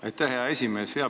Aitäh, hea esimees!